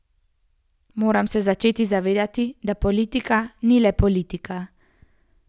Moramo se začeti zavedati, da politika ni le politika.